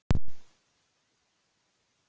Lena yrði kyrr.